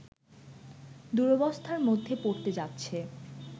দুরবস্থার মধ্যে পড়তে যাচ্ছে